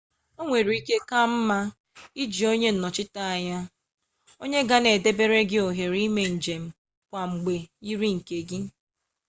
onwere ike ka nma iji onye nnochita-anya onye gana edebere gi ohere ime njem kwa mgbe yiri nke gi